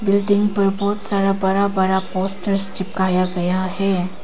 Building पर बहोत सारा बरा बरा पोस्टर्स चिपकाया गया है।